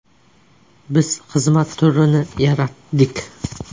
Biz xizmat turini yaratdik.